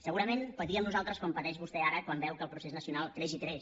segurament patíem nosaltres com pateix vostè ara quan veu que el procés nacional creix i creix